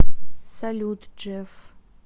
салют джефф